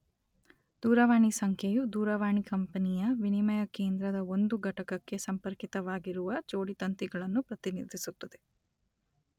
ದೂರವಾಣಿ ಸಂಖ್ಯೆಯು ದೂರವಾಣಿ ಕಂಪೆನಿಯ ವಿನಿಮಯ ಕೇಂದ್ರದ ಒಂದು ಘಟಕಕ್ಕೆ ಸಂಪರ್ಕಿತವಾಗಿರುವ ಜೋಡಿತಂತಿಗಳನ್ನು ಪ್ರತಿನಿಧಿಸುತ್ತದೆ.